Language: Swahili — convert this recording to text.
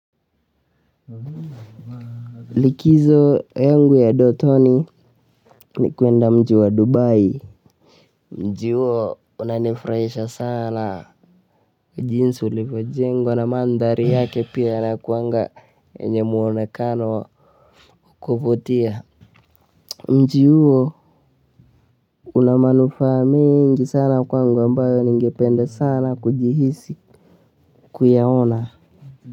Likizo yangu ya ndotoni ni kwenda mji wa Dubai, mji huo unanifurahisha sana jinsi ulivyojengwa na mandhari yake pia inakwanga yenye muonekano kuvutia, mji huo una manufaa mengi sana kwangu ambayo ningepende sana kujihisi, kuyaona.